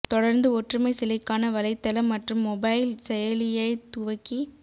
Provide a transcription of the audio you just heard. தொடர்ந்து ஒற்றுமை சிலைக்கான வலைதளம் மற்றும் மொபைல் செயலியை துவக்கி